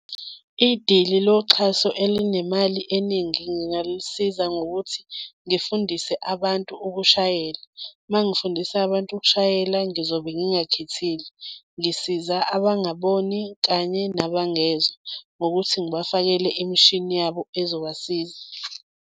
Idili loxhaso elinemali eningi ngingalisiza ngokuthi ngifundise abantu ukushayela, uma ngifundisa abantu ukushayela ngizobe ngingakhethile, ngisiza abangaboni kanye nabangezwa ngokuthi ngibafakele imishini yabo ezobasiza.